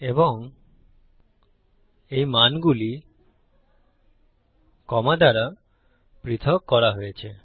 এবং এই মানগুলি কমা দ্বারা পৃথক করা হয়েছে